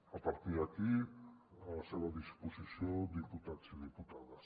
a partir d’aquí a la seva disposició diputats i diputades